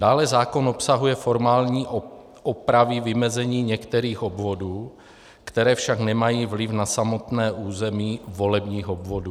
Dále zákon obsahuje formální opravy vymezení některých obvodů, které však nemají vliv na samotné území volebních obvodů.